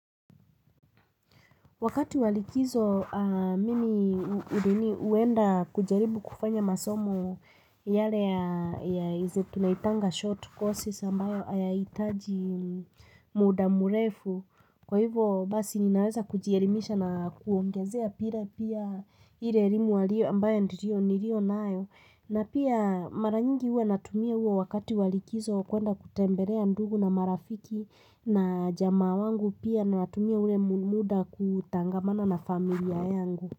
Wakati walikizo mimi udeni huenda kujaribu kufanya masomo yale ya tunaitanga short courses ambayo ayaitaji muda murefu. Kwa hivyo basi ninaweza kujierimisha na kuongezea pira pia ile rimu walio ambayo nirio nirio nayo. Na pia mara nyingi uwa natumia uwo wakati walikizo kuenda kutemberea ndugu na marafiki na jama wangu pia natumia ule muda kutangamana na familia yangu.